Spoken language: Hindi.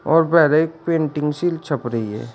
और पेंटिंग सील छप रही है।